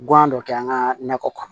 Gan dɔ kɛ an ka nakɔ kɔnɔ